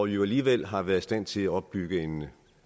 jo alligevel har været i stand til at opbygge en